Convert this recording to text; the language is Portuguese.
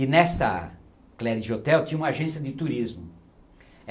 E nessa Cleridge Hotel tinha uma agência de turismo.